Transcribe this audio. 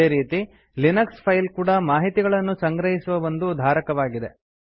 ಅದೇ ರೀತಿ Linux file ಕೂಡಾ ಮಾಹಿತಿಯನ್ನು ಸಂಗ್ರಹಿಸುವ ಒಂದು ಧಾರಕವಾಗಿದೆ